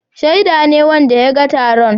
Shaida ne wanda ya ga taron.